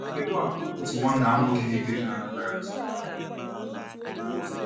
Kedu àgwà otu nwanna nwoke na-eto eto na Anambra gosipụtara?